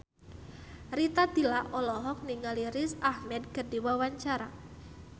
Rita Tila olohok ningali Riz Ahmed keur diwawancara